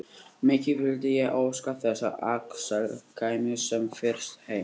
Mikið vildi ég óska þess að Axel kæmi sem fyrst heim.